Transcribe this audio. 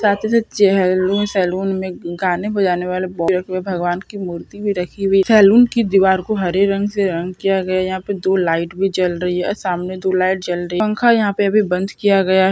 साथ ही साथ चैलु सैलून में गाने बजाने वाले बॉक्स भी रखे हुए है। भगवान की मूर्ति भी रखी हुई है। सैलून की दिवार को हरे रंग से रंग किया गया है। यहाँ पे दो लाइट भी जल रही है। और सामने दो लाइट जल रही है। हम का या के बी दो लाइट्स बंद किया गया --